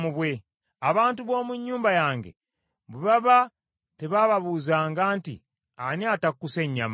Abantu b’omu nnyumba yange bwe baba tebabuuzanga nti, ‘Ani atakkuse nnyama?’